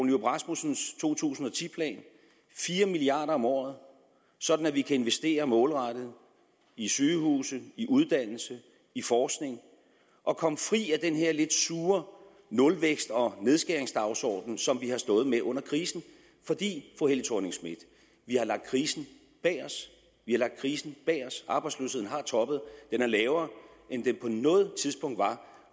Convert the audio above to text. nyrup rasmussens to tusind og ti plan fire milliard kroner om året sådan at vi kan investere målrettet i sygehuse i uddannelse i forskning og komme fri af den her lidt sure nulvækst og nedskæringsdagsorden som vi har stået med under krisen fordi vi fru helle thorning schmidt har lagt krisen bag os vi har lagt krisen bag os arbejdsløsheden har toppet og den er lavere end den noget tidspunkt var